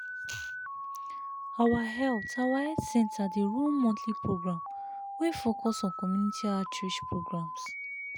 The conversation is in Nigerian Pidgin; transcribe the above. our health our health center dey run monthly program wey focus on community outreach programs.